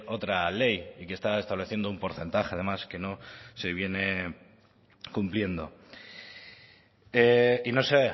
otra ley y que está estableciendo un porcentaje además que no se viene cumpliendo y no sé